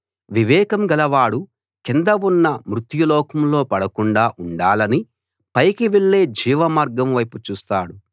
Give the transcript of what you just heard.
వివేకం గల వాడు కింద ఉన్న మృత్యులోకంలో పడకుండా ఉండాలని పైకి వెళ్ళే జీవమార్గం వైపు చూస్తాడు